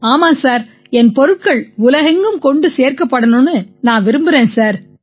ஆமாம் சார் என் பொருட்கள் உலகெங்கும் கொண்டு சேர்க்கப்படணும்னு நான் விரும்பறேன் சார்